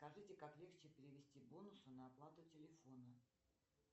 скажите как легче перевести бонусы на оплату телефона